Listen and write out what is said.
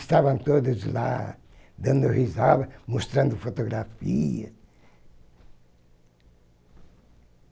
Estavam todos lá dando risada, mostrando fotografias.